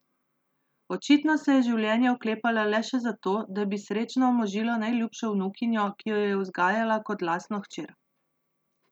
Očitno se je življenja oklepala le še zato, da bi srečno omožila najljubšo vnukinjo, ki jo je vzgajala kot lastno hčer.